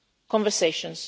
conversations